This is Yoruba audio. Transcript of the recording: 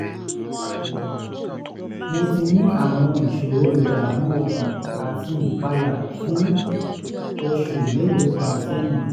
mo ti ní àwọn ìṣòro ìdààmú ọkàn àti ìpayà fún oṣù mélòó kan sẹ́yìn